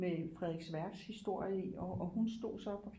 Med Frederiksværks historie i og hun stod så